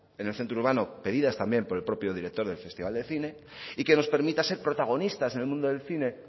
en el centro urbano pedidas también por el propio director del festival de cine y que nos permita ser protagonistas en el mundo del cine